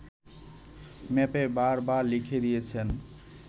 ম্যাপে বার বার লিখে দিয়েছে